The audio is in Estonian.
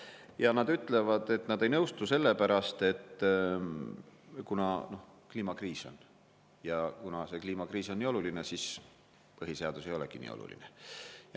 Ja nad ütlevad, et nad ei nõustu selle pärast, et kuna kliimakriis on ja kuna kliimakriis on nii oluline, siis põhiseadus ei olegi nii oluline.